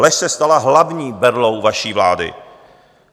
Lež se stala hlavní berlou vaší vlády.